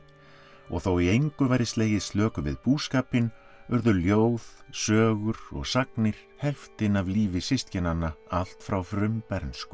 og þó í engu væri slegið slöku við búskapinn urðu ljóð sögur og sagnir helftin af lífi systkinanna allt frá frumbernsku